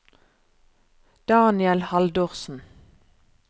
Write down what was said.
Daniel Haldorsen